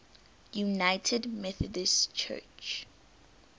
united methodist church